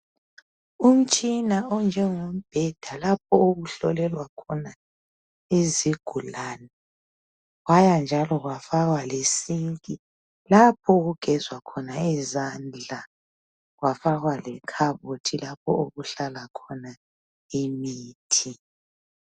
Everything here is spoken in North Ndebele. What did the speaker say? Umtshina onjengombheda lapho okuhlolelwa khona izigulane kwaya njalo kwafakwa lesinki lapho okugezwa khona izandla . Kwafakwa lekhabothi lapho okuhlala khona imithi.